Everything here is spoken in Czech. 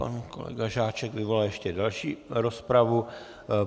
Pan kolega Žáček vyvolal ještě další rozpravu.